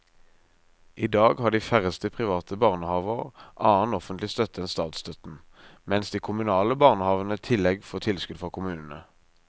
I dag har de færreste private barnehaver annen offentlig støtte enn statsstøtten, mens de kommunale barnehavene i tillegg får tilskudd fra kommunene.